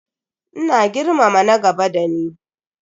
Ina girmama na gaba da ni.